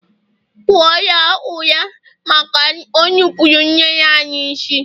kụọ ya ụra maka o nupụrụ nne anyị isi!